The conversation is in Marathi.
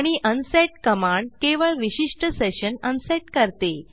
आणि अनसेट कमांड केवळ विशिष्ट सेशन अनसेट करते